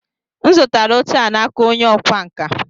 M zụtara oche a n'aka onye ọkwá nkà.